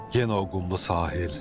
Yenə o qumlu sahil.